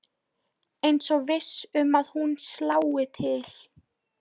Eins og viss um að hún slái til.